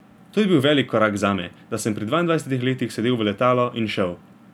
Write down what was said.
To je bil velik korak zame, da sem pri dvaindvajsetih letih sedel v letalo in šel.